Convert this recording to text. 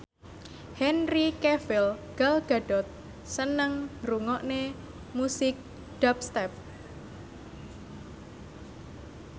Henry Cavill Gal Gadot seneng ngrungokne musik dubstep